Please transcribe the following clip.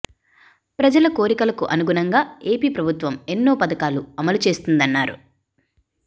ప్రజల కోరికలకు అనుగుణంగా ఏపి ప్రభుత్వం ఎన్నో పథకాలు అమలు చేస్తుందన్నారు